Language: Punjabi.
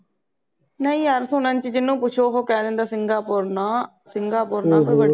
ਨਹੀਂ ਯਾਰ ਸੁਨਣ ਚ ਜਿਨੂੰ ਪੁਛੋ ਉਹ ਕਹਿ ਦਿੰਦਾ singapore ਨਾ ਸਿੰਗਾਪੁਰ ਨਾ ਤੂੰ ਵੜੀ